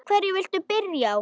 Hverju viltu byrja á?